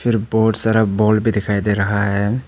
फिर बहुत सारा बॉल भी दिखाई दे रहा है।